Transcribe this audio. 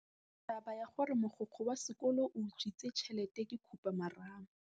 Taba ya gore mogokgo wa sekolo o utswitse tšhelete ke khupamarama.